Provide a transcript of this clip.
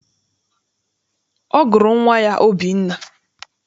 Ọ gụrụ nwa ya Obinna.